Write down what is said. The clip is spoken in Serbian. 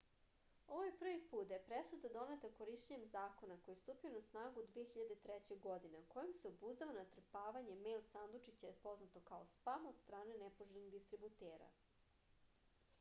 ovo je prvi put da je presuda doneta korišćenjem zakona koji je stupio na snagu 2003. godine a kojim se obuzdava natrpavanje mejl sandučića poznato kao spam od strane nepoželjnih distributera